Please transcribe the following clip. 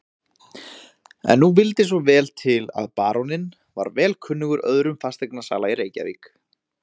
En nú vildi svo vel til að baróninn var vel kunnugur öðrum fasteignasala í Reykjavík.